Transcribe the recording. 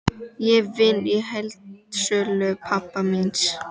Ég vinn í heildsölu pabba míns.